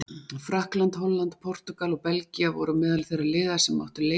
Frakkland, Holland, Portúgal og Belgía voru á meðal þeirra liða sem áttu leik.